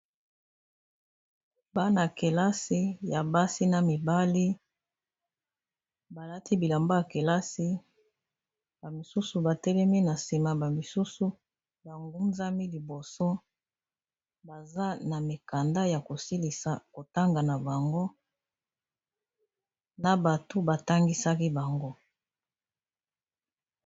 bana kelasi ya basi na mibali balati bilamba ya kelasi bamisusu batelemi na sima misusu bangunzami liboso baza na mikanda ya kosilisa kotanga na bango na bato batangisaki bango